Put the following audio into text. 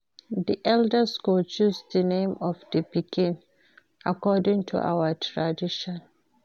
Di elders go choose di name of di pikin according to our tradition.